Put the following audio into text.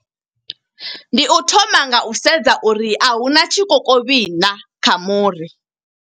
Ndi u thoma nga u sedza uri a huna tshikokovhi naa, kha muri.